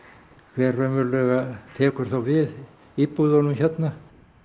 hver raunverulega tekur þá við íbúðunum hérna